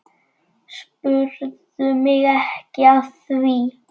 Spurðu mig ekki að því.